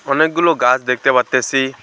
অনেকগুলো গাছ দেখতে পারতেসি।